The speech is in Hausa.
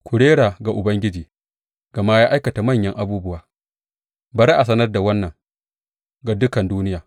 Ku rera ga Ubangiji, gama ya aikata manyan abubuwa; bari a sanar da wannan ga dukan duniya.